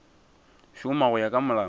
šoma go ya ka molao